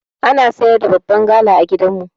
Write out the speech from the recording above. Ana siyar da babban gala a gidan mu.